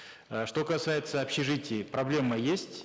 э что касается общежитий проблема есть